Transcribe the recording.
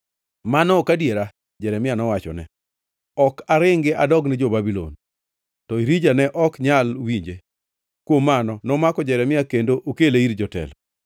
“Mano ok adiera!” Jeremia nowachone. “Ok aringi adogne jo-Babulon.” To Irija ne ok nyal winje; kuom mano, nomako Jeremia kendo okele ir jotelo.